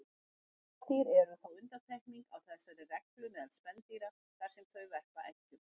Nefdýr eru þó undantekningin á þessari reglu meðal spendýra þar sem þau verpa eggjum.